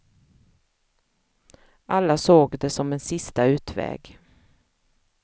Alla såg det som en sista utväg.